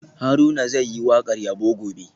Haruna zai yi wakar yabo gobe